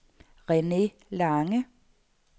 Rene Lange